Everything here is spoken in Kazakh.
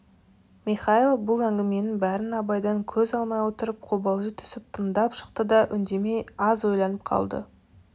михайлов бұл әңгіменің бәрін абайдан көз алмай отырып қобалжи түсіп тыңдап шықты да үндемей аз ойланып қалды